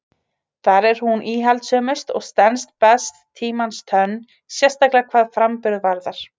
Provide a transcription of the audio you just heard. Þar er hún íhaldssömust og stenst best tímans tönn, sérstaklega hvað framburð varðar.